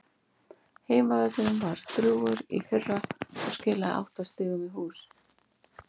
Heimavöllurinn var drjúgur í fyrra og skilaði átta sigrum í hús.